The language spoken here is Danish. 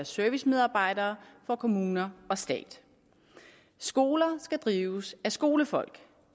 servicemedarbejdere for kommuner og stat skoler skal drives af skolefolk